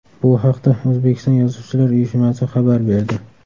Bu haqda O‘zbekiston Yozuvchilar uyushmasi xabar berdi .